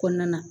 Kɔnɔna na